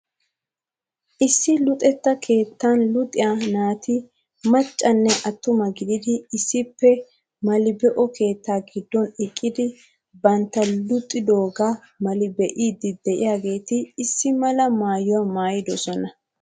Issi luxetya keettan luxiya naati maccanne attuma gididi issippe mali be'o keettaa giddon eqqidi bantta luxidoogaa mali be'iiddi diyageeti issi mala maayuwaa maayidosona.